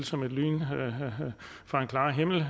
som et lyn fra en klar himmel